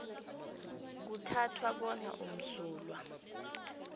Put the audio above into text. kuthathwa bona umsulwa